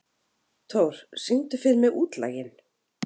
Thór, syngdu fyrir mig „Útlaginn“.